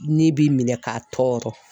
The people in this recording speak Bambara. Ne bi minɛn ka tɔɔrɔ.